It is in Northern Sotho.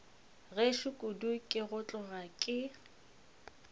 gešo kudu ke tloga ke